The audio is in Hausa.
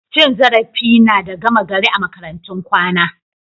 Cin zarafi na da gama gari a makarantun kwana.